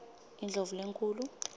indlovulenkhulu